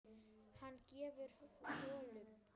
Hann grefur holu.